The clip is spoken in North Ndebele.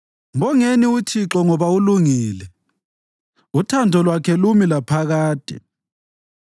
Mbongeni uThixo ngoba ulungile, uthando lwakhe lumi laphakade.